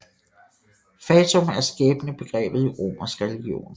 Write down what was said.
Fatum er skæbnebegrebet i romersk religion